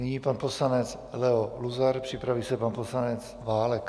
Nyní pan poslanec Leo Luzar, připraví se pan poslanec Válek.